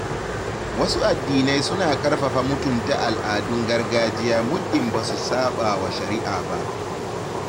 Wasu addinai suna karfafa mutunta al’adun gargajiya muddin ba su saɓawa shari’a ba.